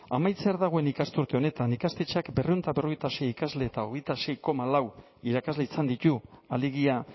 amaitzear dagoen ikasturte honetan ikastetxeak berrehun eta berrogeita sei ikasle eta hogeita sei koma lau irakasle izan ditu alegia